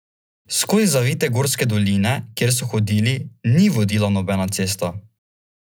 Skozi zavite gorske doline, kjer so hodili, ni vodila nobena cesta.